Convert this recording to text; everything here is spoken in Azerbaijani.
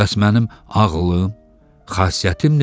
Bəs mənim ağlım, xasiyyətim necə?